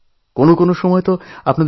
আত্মীয় হয়ে উঠেছি